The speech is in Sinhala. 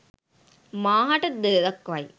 මාහට ද දක්වයි.